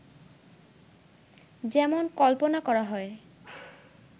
যেমন কল্পনা করা হয়